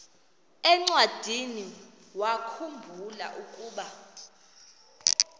encwadiniwakhu mbula ukuba